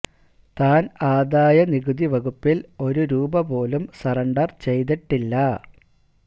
താൻ ആദായ നികുതി വകുപ്പിൽ ഒരു രൂപ പോലും സറണ്ടർ ചെയ്തിട്ടില്ല